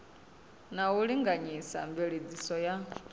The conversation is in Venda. na u linganyisa mveledziso ya